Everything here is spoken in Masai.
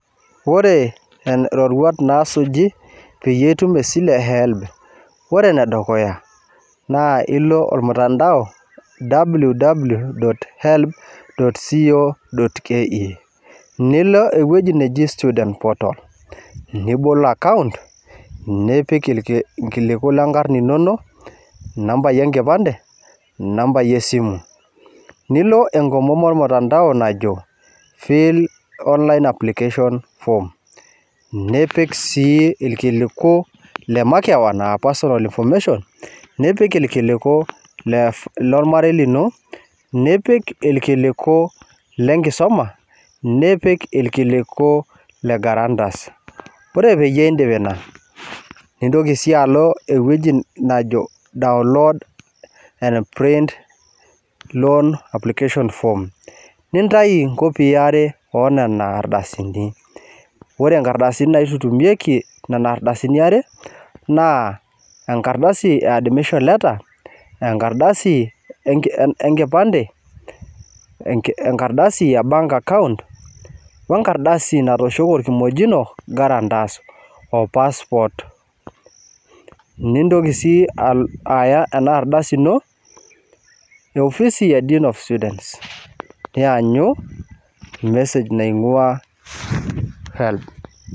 Ore iroruat naasuji peyie itum esile e helb ore enudukuya naa ilo ormutandao www.helb.co.ke nilo ewueji neji student portal irkiliku lenkar inonok inambai enkipande inambai esimu nilo enkomom ormutandao najo feel online application form nipik sii irkuliku lemakeon aa personal information nipik irkiliku lormarei lino nipik irkiliku lenkisuma nipik irkiliku legarantas ore peyie iindip ina nintoki sii alo ewueji najo download and print application form nitayu inkopii are oonena ardasini ore inkardasini naitutumieku nena ardasini are naa enkardasi ee admission letter enkardasi enkipande enkardasi e bank account wenkardasi natooshoki orkimojino garantas o passport ninyoki sii alo aya enaardasi ino efisi e students nilo aanyu message naing'ua helb